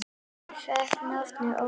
Hann fékk nafnið Óli.